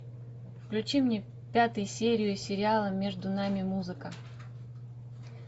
включи мне пятую серию сериала между нами музыка